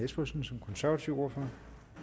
espersen som konservativ ordfører